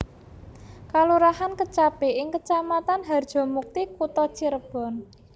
Kalurahan Kecapi ing Kecamatan Harjamukti Kutha Cirebon